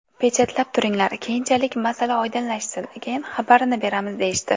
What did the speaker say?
Pechatlab turinglar, keyinchalik masala oydinlashsin, keyin xabarini beramiz deyishdi.